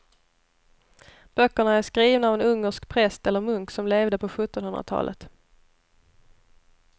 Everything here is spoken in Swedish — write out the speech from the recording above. Böckerna är skrivna av en ungersk präst eller munk som levde på sjuttonhundratalet.